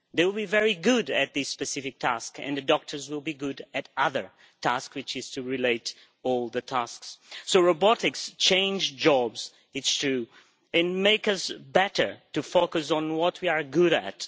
they will be very good at this specific task and the doctors will be good at the other task, which is to relate all the tasks So robotics changes jobs, it is true, and makes us better, to focus on what we are good at.